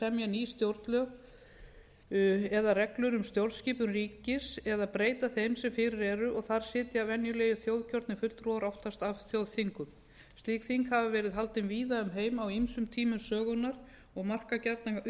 ný stjórnlög eða reglur um stjórnskipun ríkis eða breyta þeim sem fyrir eru og þar sitja venjulega þjóðkjörnir fulltrúar oftast af þjóðþingum slík þing hafa verið haldin víða um heim á ýmsum tímum sögunnar og marka gjarnan upphaf að stofnun nýrra